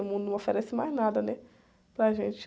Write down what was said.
O mundo não oferece mais nada, né? Para a gente.